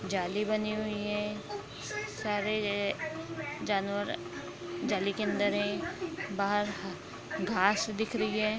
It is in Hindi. जाली बनी हुई है सारे जानवर जाली के अंदर है बाहर घास दिख रही है।